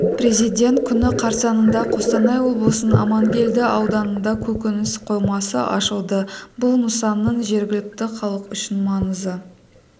президент күні қарсаңында қостанай облысының аманкелді ауданында көкөніс қоймасы ашылды бұл нысанның жергілікті халық үшін маңызы